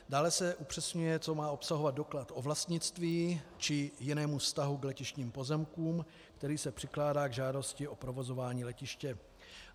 Dále se upřesňuje, co má obsahovat doklad o vlastnictví či jiném vztahu k letištním pozemkům, který se přikládá k žádosti o provozování letiště.